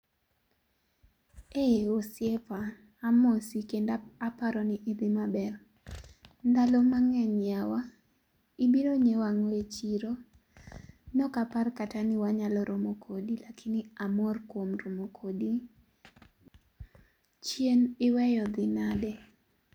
eii osiepa amosi kendo aparo ni idhi maber, ndalo mangeny yawa , ibiro nyieo ango e chiro? ne ok apar kata ni wanyalo romo kodi lakini amor kuom romo kodi . chien iweyo dhi nade?